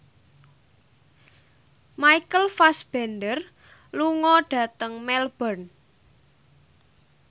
Michael Fassbender lunga dhateng Melbourne